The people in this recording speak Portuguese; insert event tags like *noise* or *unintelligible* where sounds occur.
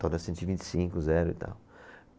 *unintelligible* Cento e vinte e cinco, zero e tal.